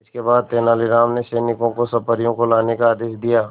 इसके बाद तेलानी राम ने सैनिकों को सब परियों को लाने का आदेश दिया